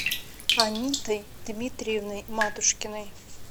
анитой дмитриевной матушкиной